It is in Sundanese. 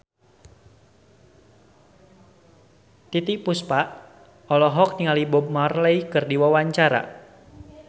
Titiek Puspa olohok ningali Bob Marley keur diwawancara